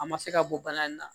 A ma se ka bɔ bana in na